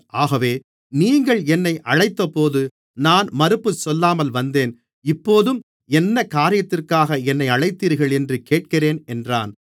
ஆகவே நீங்கள் என்னை அழைத்தபோது நான் மறுப்பு சொல்லாமல் வந்தேன் இப்போதும் என்ன காரியத்துக்காக என்னை அழைத்தீர்கள் என்று கேட்கிறேன் என்றான்